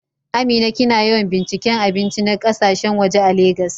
Amina, kina yawan binciken abinci na kasashen waje a Legas?